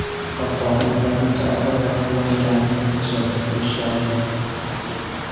Qopqog‘i yetarlicha og‘ir va flakonni zich yopib turishi lozim.